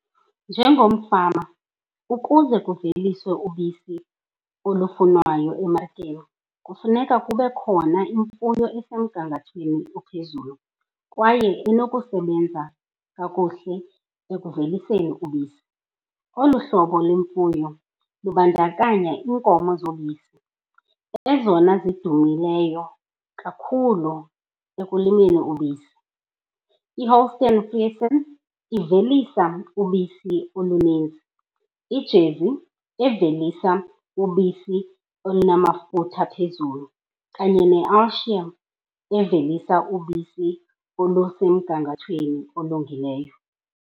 Njengomfama ukuze kuveliswe ubisi olufunwayo emarikeni kufuneka kube khona imfuyo esemgangathweni ophezulu kwaye inokusebenza kakuhle ekuveliseni ubisi. Olu hlobo lemfuyo lubandakanya iinkomo zobisi ezona zidumileyo kakhulu ekulimeni ubisi. IHolstein Friesian ivelisa ubisi olunintsi, iJersey evelisa ubisi olunamafutha phezulu, kanye neAyrshire evelisa ubisi olusemgangathweni olungileyo.